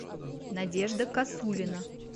надежда косулина